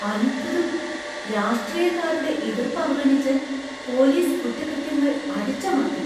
അത്ഭുതം, , രാഷ്ട്രീയക്കാരുടെ എതിർപ്പ് അവഗണിച്ച് പോലീസ് കുറ്റകൃത്യങ്ങൾ അടിച്ചമർത്തി!